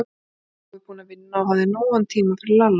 Nú var Jói búinn að vinna og hafði nógan tíma fyrir Lalla.